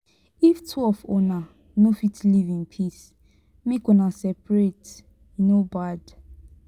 if two of una no fit live in peace make una separate e no bad.